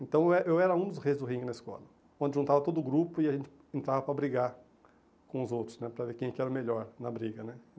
Então eh eu era um dos reis do ringue na escola, onde juntava todo o grupo e a gente entrava para brigar com os outros né, para ver quem que era o melhor na briga né.